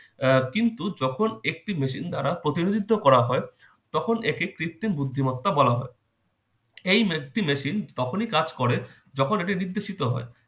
আহ কিন্তু যখন একটি মেশিন দ্বারা প্রতিনিধিত্ব করা হয় তখন এটি কৃত্রিম বুদ্ধিমত্তা বলা হয়। এই একটি machine তখনই কাজ করে যখন এটি নির্দেশিত হয়।